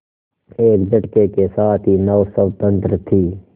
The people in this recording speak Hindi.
एक झटके के साथ ही नाव स्वतंत्र थी